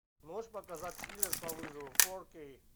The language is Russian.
можешь показать киллер по вызову фор кей